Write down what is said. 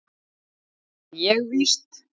Nú þarf ég víst.